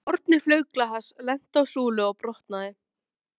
Úr horni flaug glas, lenti á súlu og brotnaði.